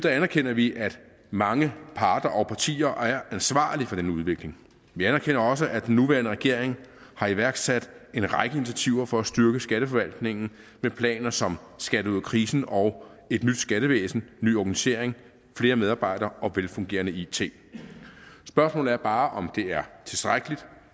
anerkender vi at mange parter og partier er ansvarlige for den udvikling vi anerkender også at den nuværende regering har iværksat en række initiativer for at styrke skatteforvaltningen med planer som skat ud af krisen og et nyt skattevæsen ny organisering flere medarbejdere og velfungerende it spørgsmålet er bare om det er tilstrækkeligt